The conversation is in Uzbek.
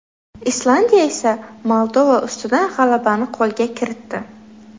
Islandiya esa Moldova ustidan g‘alabani qo‘lga kiritdi.